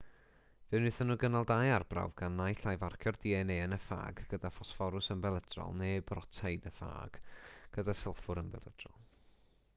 fe wnaethon nhw gynnal dau arbrawf gan naill ai farcio'r dna yn y ffâg gyda ffosfforws ymbelydrol neu brotein y ffâg gyda sylffwr ymbelydrol